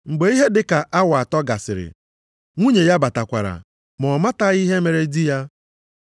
Mgbe ihe dịka awa atọ gasịrị, nwunye ya batakwara, ma ọ matabeghị ihe mere di ya.